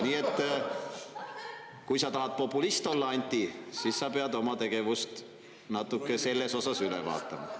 Nii et kui sa tahad populist olla, Anti, siis sa pead oma tegevust natuke selles osas üle vaatama.